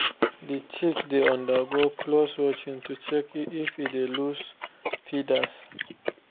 the chicks dey undergo close watching to check if e dey loss feathers